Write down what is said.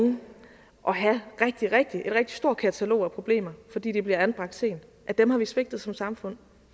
unge og have et rigtig rigtig stort katalog af problemer fordi de bliver anbragt sent dem har vi svigtet som samfund